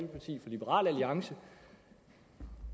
liberal alliance